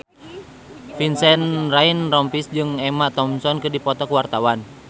Vincent Ryan Rompies jeung Emma Thompson keur dipoto ku wartawan